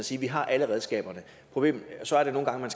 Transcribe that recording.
sige vi har alle redskaberne og så er der nogle gange hvor